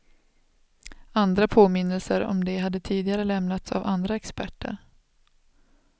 Andra påminnelser om det hade tidigare lämnats av andra experter.